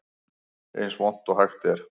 Eins vont og hægt er